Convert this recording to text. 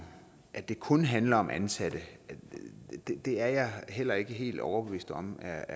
at det kun handler om ansatte er jeg heller ikke helt overbevist om er